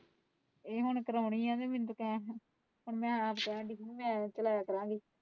ਇਹ ਹੁਣ ਪੁਰਾਣੀ ਹੈ ਤਾਂ ਮੈਂ ਆਪ ਸ਼ਹਿਰ ਦੇਖੋ ਗਈ।